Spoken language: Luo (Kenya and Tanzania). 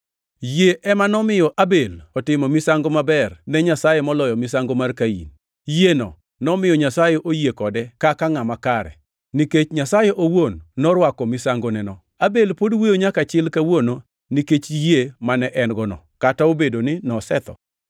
Yie ema nomiyo Abel otimo misango maber ne Nyasaye moloyo misango mar Kain. Yieneno nomiyo Nyasaye oyie kode kaka ngʼama kare, nikech Nyasaye owuon norwako misangoneno. Abel pod wuoyo nyaka chil kawuono nikech yie mane en-gono, kata obedo ni nosetho.